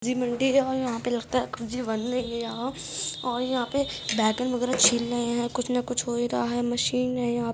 सब्जी मंडी है और यहाँ पर लगता है और यहाँ पे बैगन वागेरह छिल रहे हैं कुछ न कुछ हो ही रहा है मशीन है यहाँ --